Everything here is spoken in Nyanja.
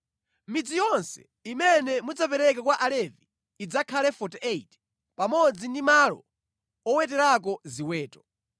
Midzi yonse imene mudzapereke kwa Alevi idzakhale 48, pamodzi ndi malo oweterako ziweto.